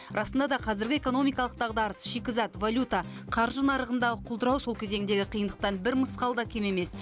расында да қазіргі экономикалық дағдарыс шикізат валюта қаржы нарығындағы құлдырау сол кезеңдегі қиындықтан бір мысқал да кем емес